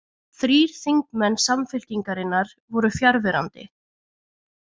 Þrír þingmenn Samfylkingarinnar voru fjarverandi